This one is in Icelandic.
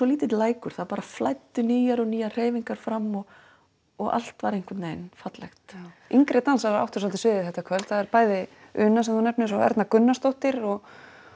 lítill lækur það flæddu nýjar og nýjar hreyfingar fram og og allt var einhvern veginn fallegt yngri dansarar áttu svolítið sviðið þetta kvöld bæði Una sem þú nefnir og Erna Gunnarsdóttir og